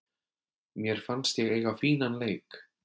Mér fannst ég eiga fínan leik.